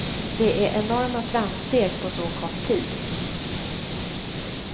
Det är enorma framsteg på så kort tid.